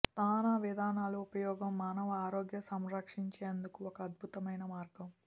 స్నాన విధానాలు ఉపయోగం మానవ ఆరోగ్య సంరక్షించేందుకు ఒక అద్భుతమైన మార్గం